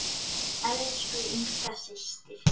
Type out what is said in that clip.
Elsku Inga systir.